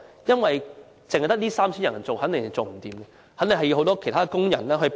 因為只有 3,000 人從事有關工作，肯定人手不足，需要很多其他工人幫忙。